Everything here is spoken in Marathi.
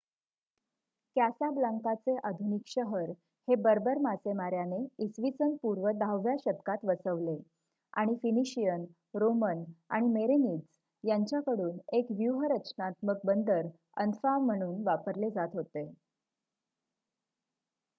कॅसाब्लांकाचे आधुनिक शहर हे बर्बर मासेमाऱ्याने इसवीसन पूर्व 10 व्या शतकात वसवले आणि फिनिशियन रोमन आणि मेरेनीद्स यांच्याकडून एक व्यूहरचनात्मक बंदर अन्फा म्हणून वापरले जात होते